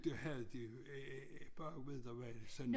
Det det havde de bare ude